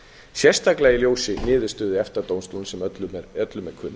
sérstaklega í ljósi niðurstöðu efta dómstóls sem öllum er kunn